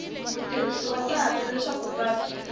mutirhisi wa patu leswaku patu